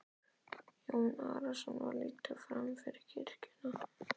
Jón Arason var leiddur fram fyrir kirkjuna.